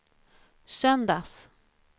söndags